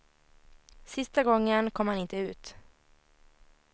Sista gången kom han inte ut.